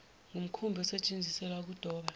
ngumkhumbi osetsheziselwa ukudoba